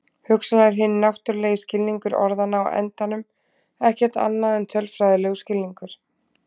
Hugsanlega er hinn náttúrulegi skilningur orðanna á endanum ekkert annað en tölfræðilegur skilningur.